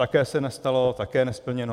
Také se nestalo, také nesplněno.